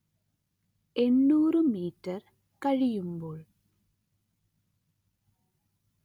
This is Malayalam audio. എന്നൂര് മീറ്റർ കഴിയുമ്പോൾ